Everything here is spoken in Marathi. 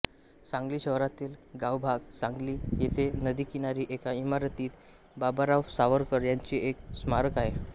सांगली शहरातील गावभाग सांगली येथे नदी किनारी एका इमारतीत बाबाराव सावरकर यांचे एक स्मारक आहे